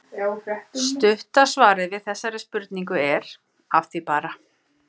Stutta svarið við þessari spurningu er: Að því bara!